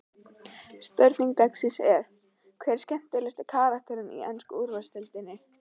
Spurning dagsins er: Hver er skemmtilegasti karakterinn í ensku úrvalsdeildinni?